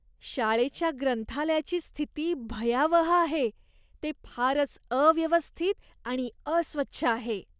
शाळेच्या ग्रंथालयाची स्थिती भयावह आहे, ते फारच अव्यवस्थित आणि अस्वच्छ आहे.